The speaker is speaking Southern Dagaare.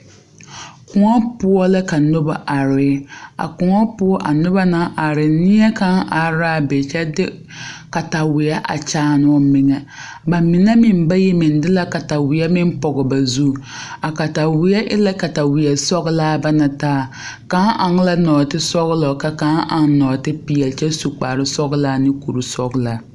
Kõɔ poɔ la ka noba are a kõɔ poɔ a noba na are neɛ kaŋa araa be kyɛ de kataweɛ a kyaane o meŋɛ ba mine meŋ bayi meŋ de la kataweɛ meŋ pɔɡe ba zu a kataweɛ e la kataweɛ sɔɡelaa ba na taa kaŋ eŋ la nɔɔtesɔɡelɔ ka kaŋ eŋ nɔɔtepeɛle kyɛ su kparsɔɡelaa ne kursɔɡelaa.